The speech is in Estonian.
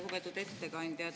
Lugupeetud ettekandja!